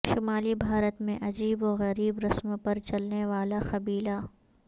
شمالی بھارت میں عجیب و غریب رسم پر چلنےوالا قبیلہ